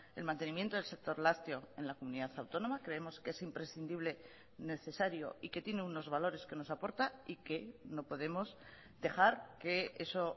el mantenimiento del sector lácteo en la comunidad autónoma creemos que es imprescindible necesario y que tiene unos valores que nos aporta y que no podemos dejar que eso